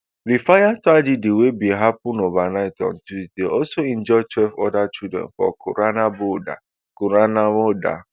di fire tragedy wey bin happun overnight on tuesday also injure twelve oda children for kauran namoda kauran namoda